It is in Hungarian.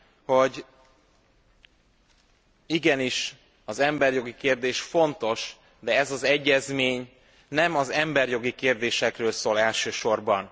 hogy igenis az emberjogi kérdés fontos, de ez az egyezmény nem az emberjogi kérdésekről szól elsősorban.